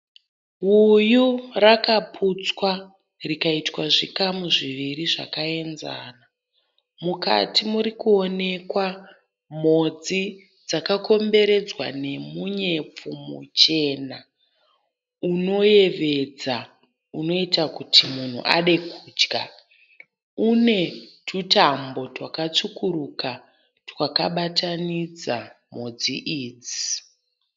Uyu rakaputswa rikaitwa zvikamu zviviri zvakaenzana. Mukati muri kuonekwa mhodzi dzakakomberedza nemunyepfu muchena unoyevedza unoita kuti munhu ade kudya. Une tutambo twakatsvukuruka twakabatanidza mhodzi idzi.